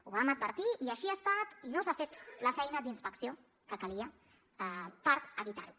ho vam advertir i així ha estat i no s’ha fet la feina d’inspecció que calia per evitar ho